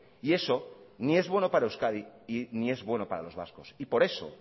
y eso ni es bueno para euskadi ni es bueno para los vascos y por eso